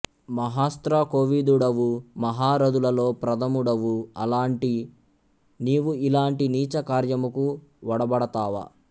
మహాస్త్రకోవిదుడవు మహారధులలో ప్రథముడవు అలాంటి నీవు ఇలాంటి నీచ కార్యముకు ఒడబడతావా